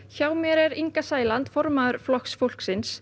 hjá mér er Inga Sæland formaður Flokks fólksins